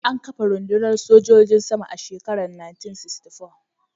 An kafa rundunar sojin sama a shekarar 1964.